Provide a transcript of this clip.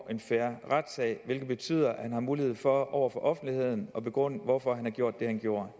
en fair retssag hvilket betyder at han har mulighed for over for offentligheden at begrunde hvorfor han gjorde det han gjorde